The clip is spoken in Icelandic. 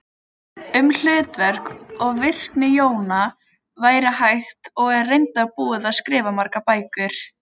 Um hlutverk og virkni jóna væri hægt og er reyndar búið að skrifa margar bækur.